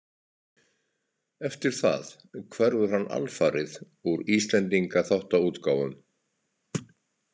Eftir það hverfur hann alfarið úr Íslendingaþáttaútgáfum.